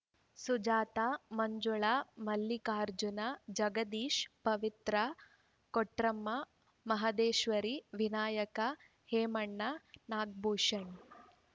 Sujata Manjula Mallikarjuna Jagadish Pavithra Kotramma Maheshwari Vinayaka Hemanna Nagabhushan